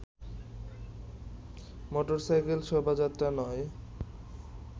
motorcycle শোভাযাত্রা নয়